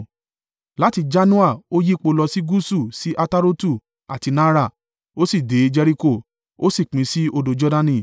Láti Janoa ó yípo lọ sí gúúsù sí Atarotu àti Naara, ó sì dé Jeriko, ó sì pín sí odò Jordani.